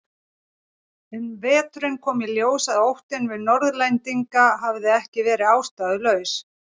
Um veturinn kom í ljós að óttinn við Norðlendinga hafði ekki verið ástæðulaus.